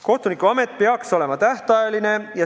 Kohtunikuamet peaks olema tähtajaline.